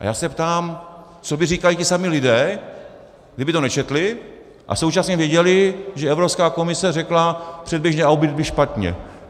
A já se ptám, co by říkali ti samí lidé, kdyby to nečetli a současně věděli, že Evropská komise řekla, předběžný audit byl špatně.